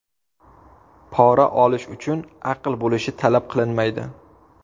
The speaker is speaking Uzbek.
Pora olish uchun aql bo‘lishi talab qilinmaydi.